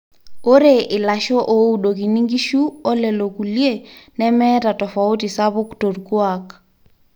ore ilasho ooudokini inkishu olelo kulie nemeeta tofauti spuk torkuaak